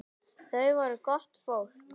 Þau voru gott fólk.